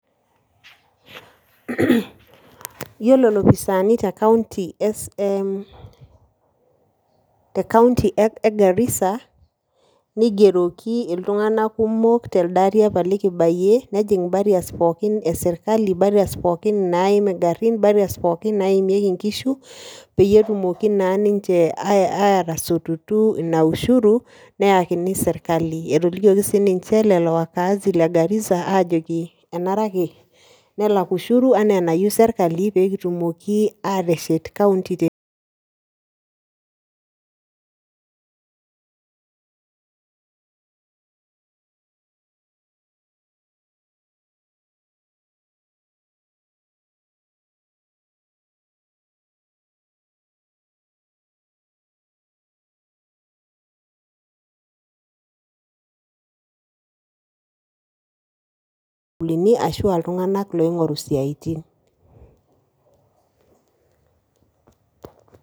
Yiolo lopisaani te county ,e te county e Garissa, nigeroki iltung'anak kumok telde ari apa likibayie , nejing barriers pookin e sirkali, barriers pookin naim ingarrin, barriers pookin naimieki inkishu peyie etumoki naa ninche atasotutu ina ushuru neyakini sirkali. Etolikioki sininye lelo wakaazi le garissa ajoki kenare ake nelak ushuru naa enishiaa pee kitumoki ateshet county te sukuulini ashua iltung'anak loing'oru isiatin.